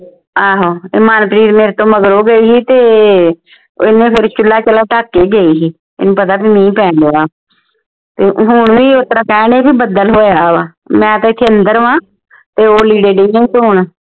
ਆਹੋ ਤੇ ਮਨਪ੍ਰੀਤ ਮੇਰੇ ਤੋਂ ਮਗਰੋਂ ਗਈ ਸੀ ਤੇ ਉਹ ਫੇਰ ਚੁੱਲ੍ਹਾ ਚਾਲਾ ਢੱਕ ਕੇ ਗਈ ਸੀ ਇਹਨੂੰ ਪਤਾ ਵੀ ਮੀਂਹ ਪੈਣ ਢਿਆ ਹੁਣ ਵੀ ਉਹ ਤਰ੍ਹਾਂ ਕਹਿਣ ਢੇ ਸੀ ਵੀ ਬੱਦਲ ਹੋਇਆ ਵਾ ਮੈਂ ਤਾਂ ਇਥੇ ਅੰਦਰ ਵਾਂ ਤੇ ਉਹ ਲੀੜੇ ਢਈ ਆ ਧੋਣ